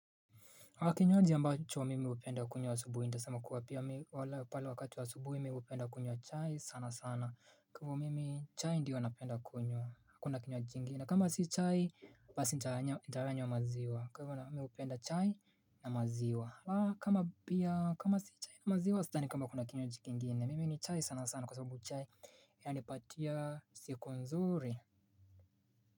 Kwa kinywaji ambacho mimi hupenda kunywa asubuhi nitasema kuwa pia mimi pale wakati wa subuhi mimi hupenda kunywa chai sana sana kwa hivyo mimi chai ndio napenda kunywa hakuna kinywaji kingine kama si chai basi nitayanywa maziwa kwa hivyo mimi hupenda chai na maziwa kama pia kama si chai na maziwa sidhani kama kuna kinywaji kingine mimi ni chai sana sana kwa sababu chai inanipatia siku nzuri.